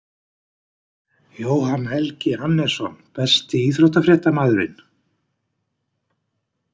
jóhann helgi hannesson Besti íþróttafréttamaðurinn?